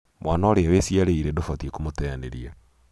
mwana ũria wĩciarĩire ndũbatiĩ kũmũteanĩria.